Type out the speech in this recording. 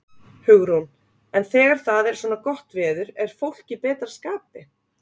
Hugrún: En þegar það er svona gott veður, er fólk í betra skapi?